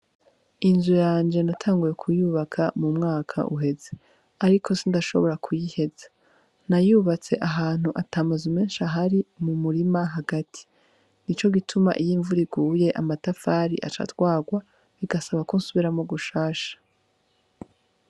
Inzu yanje natanguye kuyubaka mu mwaka uheze, ariko sindashobora kuyiheza nayubatse ahantu atamazu menshi ahari mu murima hagati nico gituma iyo imvura iguye amatafari aca atwagwa bigasaba ko nsubiramwo bushasha.